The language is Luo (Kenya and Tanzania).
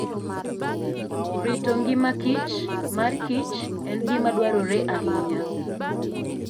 Rito ngimaKich marKich en gima dwarore ahinya.